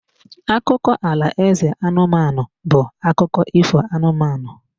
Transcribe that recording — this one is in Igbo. Akụkọ alaeze anụmanụ bụ akụkụ ifo anụmanụ.